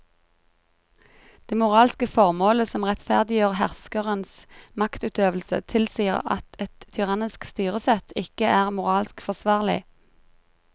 Det moralske formålet som rettferdiggjør herskerens maktutøvelse tilsier at et tyrannisk styresett ikke er moralsk forsvarlig.